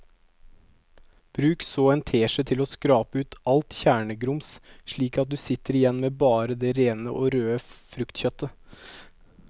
Bruk så en teskje til å skrape ut alt kjernegrums slik at du sitter igjen med bare det rene og røde fruktkjøttet.